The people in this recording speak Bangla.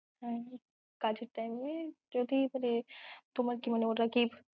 আর কাজের time এ যদি মানে তোমার কি মনে হয় ওরা কি